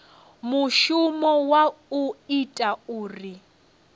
mushumo wa u ita uri